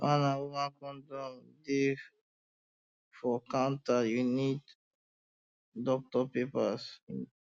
man and woman condom um dey for counter you no need doctor paper